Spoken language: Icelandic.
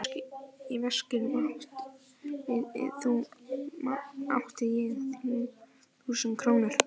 Í veskinu mínu átti ég þrjú þúsund krónur.